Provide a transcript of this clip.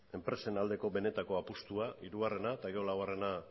enpresen aldeko benetako apustua hirugarrena eta gero laugarrena